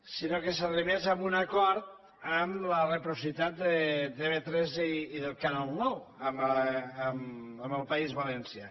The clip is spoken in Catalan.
sinó que s’arribés a un acord amb la reciprocitat de tv3 i del canal nou amb el país valencià